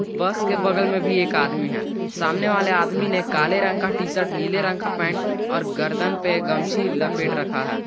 बस के बगल में भी एक आदमी है सामने वाले आदमी ने काले रंग का टी शर्ट नीले रंग का पेंट और गर्दन पर गमछी लपेट रखा है।